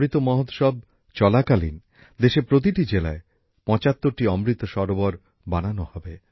অমৃত মহোৎসব চলাকালীন দেশের প্রতিটি জেলায় ৭৫টি অমৃত সরোবর বানানো হবে